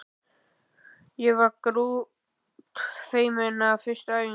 Ég var grútfeimin á fyrstu æfingunni.